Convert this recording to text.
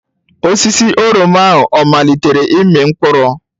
Osisi oroma ahụ ọ amalitela ịmị mkpụrụ?